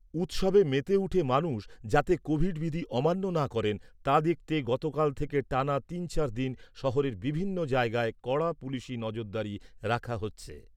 উৎসবে মেতে উঠে মানুষ যাতে কোভিড বিধি অমান্য না করেন তা দেখতে গতকাল থেকে টানা তিন চার দিন শহরের বিভিন্ন জায়গায় কড়া পুলিশি নজরদারি রাখা হচ্ছে।